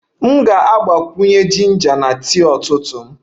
M ga-agbakwunye jinja na tii ụtụtụ m